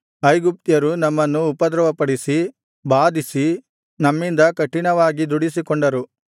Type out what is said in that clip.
ಐಗುಪ್ತ್ಯರು ನಮ್ಮನ್ನು ಉಪದ್ರವಪಡಿಸಿ ಬಾಧಿಸಿ ನಮ್ಮಿಂದ ಕಠಿಣವಾಗಿ ದುಡಿಸಿಕೊಂಡರು